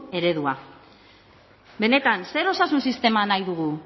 eredua benetan zer osasun sistema nahi dugu